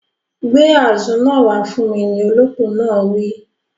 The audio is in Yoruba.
Gbé àzu náà wá fún mi, ni olópò náà wí